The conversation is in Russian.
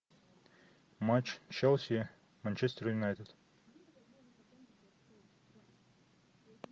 матч челси манчестер юнайтед